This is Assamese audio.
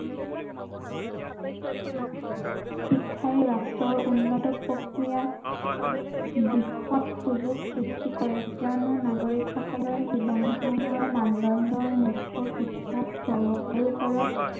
শিক্ষাই ৰাষ্ট্ৰৰ উন্নত প্ৰক্ৰিয়াত বৃহৎ সুযোগ সৃষ্টি কৰে কিয়নো নাগৰিকসকলৰ জীৱনধাৰণৰ মানদণ্ডৰ মুখ্য় শিক্ষাস্তৰৰ ওপৰত